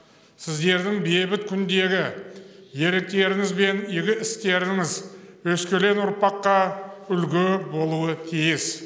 сіздердің бейбіт күндегі ерліктеріңіз бен игі істеріңіз өскелең ұрпаққа үлгі болуы тиіс